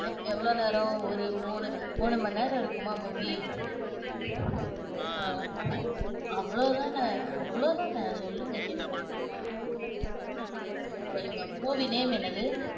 அஹ் எவ்வளவு நேரம்? ஒரு மூணு மூணு மணி நேரம் இருக்குமா, movie? அஹ் அவ்வளவுதான? அவ்வளவுதான? சொல்லுங்க கேட்போம். சொல்லுங்க movie name என்னது?